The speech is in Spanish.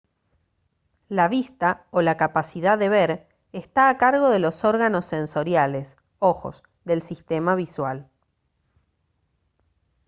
la vista o la capacidad de ver está a cargo de los órganos sensoriales ojos del sistema visual